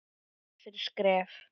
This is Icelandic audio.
Skref fyrir skref.